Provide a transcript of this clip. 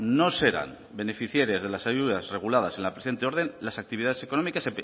no serán beneficiarias de las ayudas reguladas en la presente orden las actividades económicas